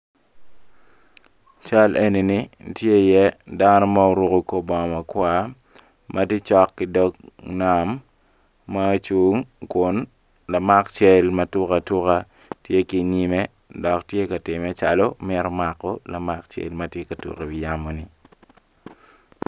Cal enini tye iye dano ma oruko kor bongo makwar ma tye cok ki dog nam ma ocung kun lamak cal ma tuk atuka tye ki inyime dok tye ka timme calo mito mako lamak cal ma tye ka tuk iwi yamoni.